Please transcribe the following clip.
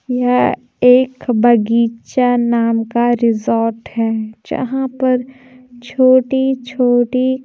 यह एक बगीचा नाम का रिसॉर्ट है जहां पर छोटी छोटी--